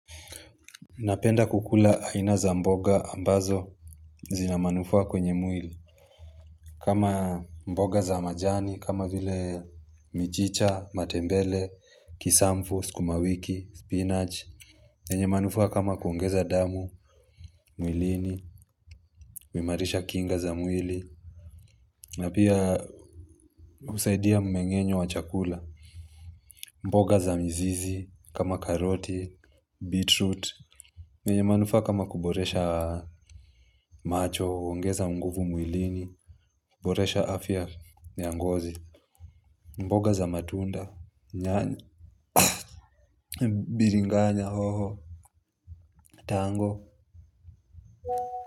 Napenda kukula aina za mboga ambazo zina manufaa kwenye mwili. Kama mboga za majani, kama vile michicha, matembele, kisamfu, skumawiki, spinach yenye manufaa kama kuongeza damu, mwilini, kuimarisha kinga za mwili. Napia husaidia mmengenyo wa chakula. Mboga za mzizi, kama karoti, beetroot yenye manufaa kama kuboresha macho, uongeza nguvu mwilini. Boresha afya ya ngozi. Mboga za matunda nyanya biringanya hoho tango.